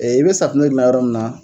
Ee i be safunɛ gilan yɔrɔ min na.